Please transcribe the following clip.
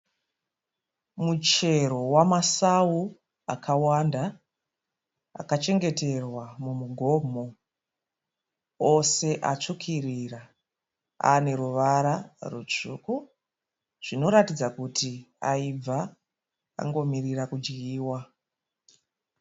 Muchero wamasau akawanda akachengeterwa mumugomo. Ose atsvukirira. Ane ruvara rutsvuku zvinoratidza kuti aibva angomirira kudyiwa.